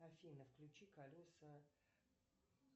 афина включи колеса